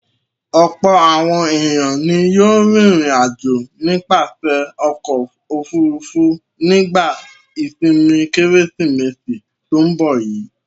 Ọ̀pọ̀ àwọn ènìyàn ni yóò rìnrìn-àjò nípasẹ̀ ọkọ̀-òfurufú nígbà ìsìnmi kKérésìmesì tó ń bọ̀ yìí.